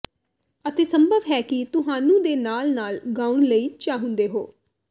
ਅਤੇ ਸੰਭਵ ਹੈ ਕਿ ਤੁਹਾਨੂੰ ਦੇ ਨਾਲ ਨਾਲ ਗਾਉਣ ਲਈ ਚਾਹੁੰਦੇ ਹੋ